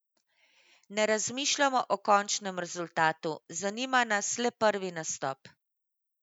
Ne razmišljamo o končnem rezultatu, zanima nas le prvi nastop.